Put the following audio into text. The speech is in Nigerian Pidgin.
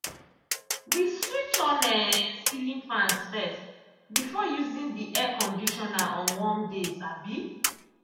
we switch on um ceiling fans first before using the air conditioner on warm days. um